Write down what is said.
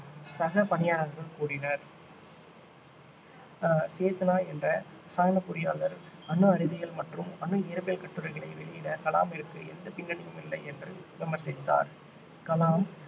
சக பணியாளர்கள் கூறினர் ஆஹ் சேத்னா என்ற இரசாயன பொறியாளர் அணு அறிவியல் மற்றும் அணு இயற்பியல் கட்டுரைகளை வெளியிட கலாமிற்கு எந்த பின்னணியும் இல்லை என்று விமர்சித்தார் கலாம்